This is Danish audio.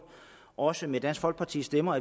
også med dansk folkepartis stemmer